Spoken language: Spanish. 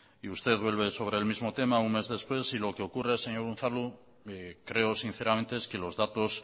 y usted vuelve sobre el mismo tema un mes después lo que ocurre señor unzalu creo sinceramente es que los datos